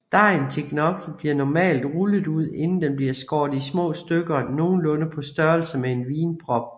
Dejen til gnocchi bliver normalt rullet ud inden den bliver skårret i små stykker nogenlunde på størrelse med en vinprop